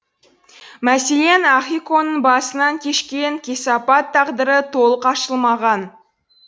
мәселен ахиконың басынан кешкен кесапат тағдыры толық ашылмаған